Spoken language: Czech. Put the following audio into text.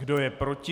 Kdo je proti?